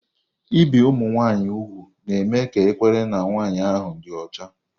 Ibi ụmụ nwanyị úgwù na-eme ka ekwere na nwanyị ahụ dị ọcha.